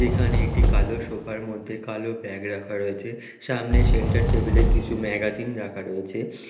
এখানে একটি কালো সোফার মধ্যে কালো ব্যাগ রাখা রয়েছে সামনে সেন্টার টেবিলে কিছু ম্যাগাজিন রাখা রয়েছে --